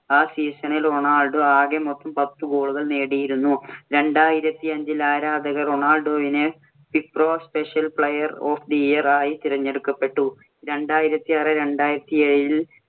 ആ season ഇല്‍ Ronaldo ആകെ മൊത്തം പത്ത് goal ഉകള്‍ നേടിയിരുന്നു. രണ്ടായിരത്തി അഞ്ചില്‍ ആരാധകർ റൊണാൾഡോവിനെ FIFPro Special Player of the Year ആയി തിരഞ്ഞെടുക്കപ്പെട്ടു. രണ്ടായിരത്തി ആറ് - രണ്ടായിരത്തി എഴില്‍